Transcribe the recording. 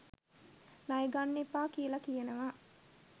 ණය ගන්න එපා කියලා කියනවා